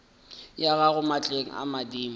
ya gago maatleng a madimo